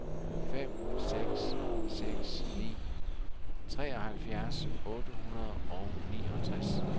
fem seks seks ni treoghalvfjerds otte hundrede og niogtres